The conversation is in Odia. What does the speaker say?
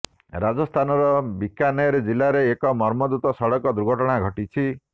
ରାଜସ୍ଥାନର ବିକାନେର ଜିଲ୍ଲାରେ ଏକ ମର୍ମନ୍ତୁଦ ସଡକ ଦୁର୍ଘଟଣା ଘଟିଛି